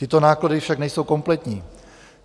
Tyto náklady však nejsou kompletní.